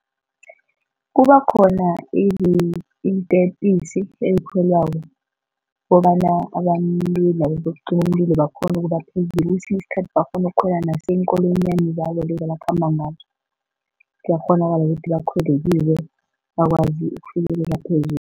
Kuba khona iintepisi ezikhwelwako kobana abantu labo bokucima umlilo bakghone ukubaphezulu, kwesinye isikhathi bakghona ukukhwela naso iinkolonyana zabo lezi abakhamba ngazo, kuyakghonakala ukuthi bakhwele kizo bakwazi ukufikelela phezulu.